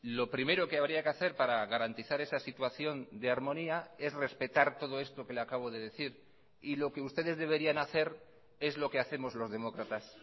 lo primero que habría que hacer para garantizar esa situación de armonía es respetar todo esto que le acabo de decir y lo que ustedes deberían hacer es lo que hacemos los demócratas